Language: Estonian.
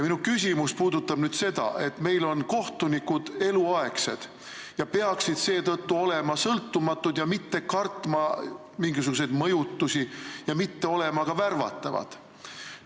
Minu küsimus puudutab seda, et kohtunikud on meil eluaegsed ja peaksid seetõttu olema sõltumatud, mitte kartma mingisuguseid mõjutusi ja mitte olema ka värvatavad.